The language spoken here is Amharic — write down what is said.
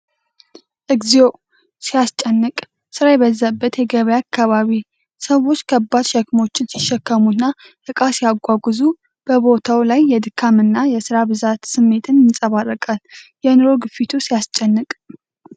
እግዚኦ ሲያስጨንቅ! ስራ የበዛበት የገበያ አካባቢ! ሰዎች ከባድ ሸክሞችን ሲሸከሙና ዕቃ ሲያጓጉዙ ። በቦታው ላይ የድካም እና የሥራ ብዛት ስሜት ይንጸባረቃል። የኑሮ ግፊቱ ሲያስጨንቅ!።